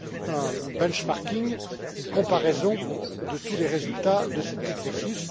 un bench marking une comparaison de tous les résultats de cet exercice.